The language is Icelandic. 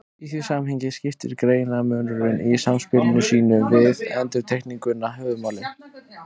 Í því samhengi skiptir greinarmunurinn í samspili sínu við endurtekninguna höfuðmáli.